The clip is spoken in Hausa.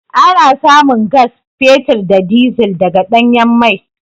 Ana samun gas, fetur da dizil daga ɗanyen mai.